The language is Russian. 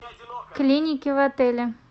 клиники в отеле